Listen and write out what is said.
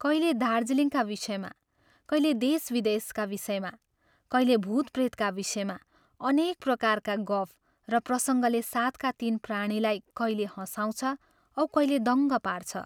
कैले दार्जीलिङका विषयमा, कैले देशविदेशका विषयमा, कैले भूतप्रेतका विषयमा अनेक प्रकारका गफ र प्रसङ्गले साथका तीन प्राणीलाई कैले हँसाउछ औ कैले दङ्ग पार्छ।